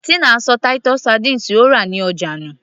Tina ṣọ titus sardines tí ó rà ní ọjà nù